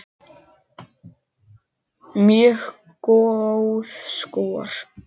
Mjög góð skor.